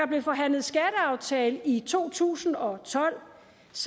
blev forhandlet skatteaftale i to tusind og tolv